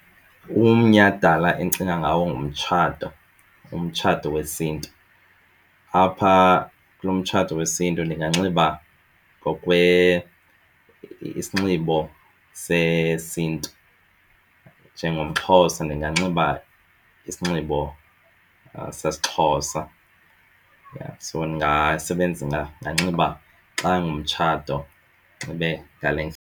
Umnyhadala endicinga ngawo ngumtshato, umtshato wesiNtu. Apha kulo mtshato wesiNtu ndinganxiba ngokwe isinxibo sesiNtu. NjengomXhosa ndinganxiba isinxibo sesiXhosa, yha, so ndingasebenzisa ndinganxiba xa ngumtshato ndinxibe ngale .